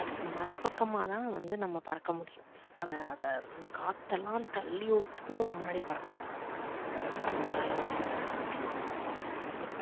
அதுக்கு மறுபக்கமா தான் வந்து நம்ம பறக்க முடியும். அத அத அந்த காத்து எல்லாம் தள்ளி விட்டுட்டு நம்ம முன்னாடி பறக்கணும் அது நம்மளால நல்லா பறக்க முடியும். இப்ப